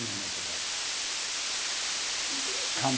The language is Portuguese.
Mil metro quadrado. E como